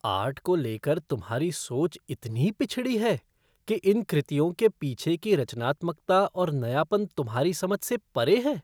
Art को लेकर तुम्हारी सोच इतनी पिछड़ी है कि इन कृतियों के पीछे की रचनात्मकता और नयापन तुम्हारी समझ से परे हैं।